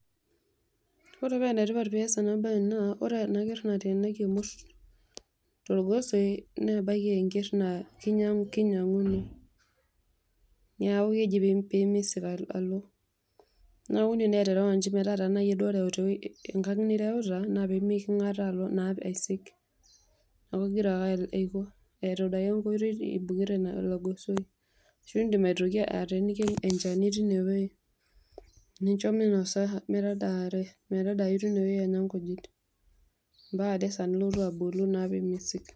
Ore pa enetipat tenias ena naa ore enaker nateenaki emurs torgosoi na ebaki a enker na kinyanguno, neaku keji pemeisik alo, neaku indim naw aterewa njii metaa tanayie duo oreuta enkang nireuta naa pemekingataa naa aisik amu enkingira ake aibungaa enkoitoi tolo gosoi, indim ainyaki ateeniki enchani tilo gosoi nincho minosa, metaadare tinewueji, ambaka ade esaa naa nilotu abolu na pemeisik.